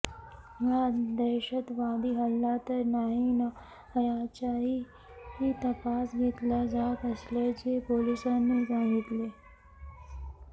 हा दहशतवादी हल्ला तर नाही ना याचाही तपास घेतला जात असल्याचे पोलिसांनी सांगितले